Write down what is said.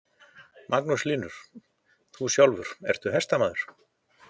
Magnús Hlynur: Þú sjálfur, ertu hestamaður?